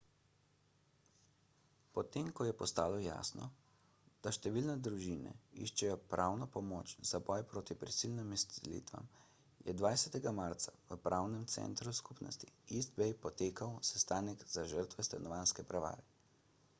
potem ko je postalo jasno da številne družine iščejo pravno pomoč za boj proti prisilnim izselitvam je 20 marca v pravnem centru skupnosti east bay potekal sestanek za žrtve stanovanjske prevare